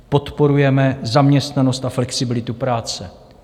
Podporujeme zaměstnanost a flexibilitu práce.